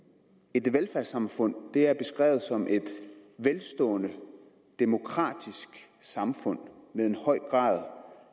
et velfærdssamfund er beskrevet som et velstående demokratisk samfund med en høj grad